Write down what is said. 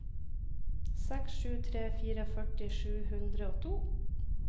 seks sju tre fire førti sju hundre og to